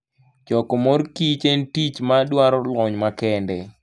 Choko mor kich en tich madwaro lony makende.